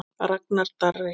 Ragnar Darri.